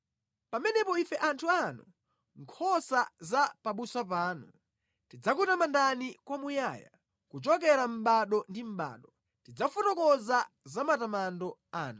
Pamenepo ife anthu anu, nkhosa za pabusa panu, tidzakutamandani kwamuyaya, kuchokera mʼbado ndi mʼbado tidzafotokoza za matamando anu.